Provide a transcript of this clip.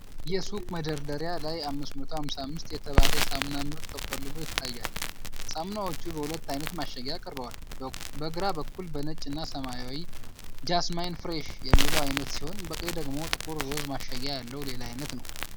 የሱቅ መደርደሪያ ላይ 555 የተባለ የሳሙና ምርት ተቆልሎ ይታያል። ሳሙናዎቹ በሁለት ዓይነት ማሸጊያ ቀርበዋል፡ በግራ በኩል በነጭ እና ሰማያዊ "Jasmine Fresh" የሚለው አይነት ሲሆን፣ በቀኝ ደግሞ ጥቁር ሮዝ ማሸጊያ ያለው ሌላ ዓይነት ነው።